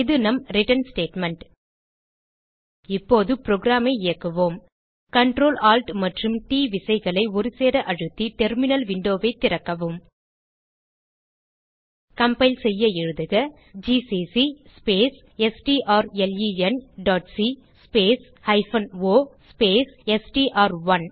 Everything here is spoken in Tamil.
இது நம் ரிட்டர்ன் ஸ்டேட்மெண்ட் இப்போது புரோகிராம் ஐ இயக்குவோம் Ctrl Alt மற்றும் ட் விசைகளை ஒருசேர அழுத்தி டெர்மினல் விண்டோ ஐ திறக்கவும் கம்பைல் செய்ய எழுதுக ஜிசிசி ஸ்பேஸ் strlenசி ஸ்பேஸ் o ஸ்பேஸ் எஸ்டிஆர்1